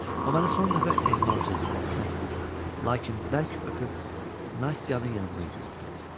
O məni son dəfə ehmalca, səssiz, lakin bərk öpüb Nastyanın yanına yüyürdü.